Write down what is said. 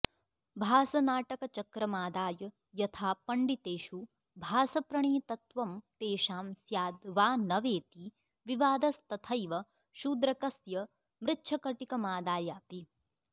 भासनाटकचक्रमादाय यथा पण्डितेषु भासप्रणीतत्वं तेषां स्याद्वा न वेति विवादस्तथैव शूद्रकस्य मृच्छकटिकमादायापि